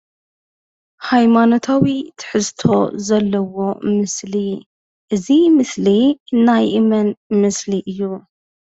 ሃይማኖታዊ ትሕዝቶ ዘለዎ ምስሊ። እዚ ምስሊ ናይ መን ምስሊ እዩ?